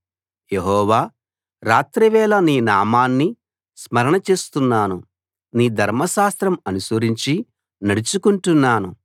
యెహోవా రాత్రివేళ నీ నామాన్ని స్మరణ చేస్తున్నాను నీ ధర్మశాస్త్రం అనుసరించి నడుచుకుంటున్నాను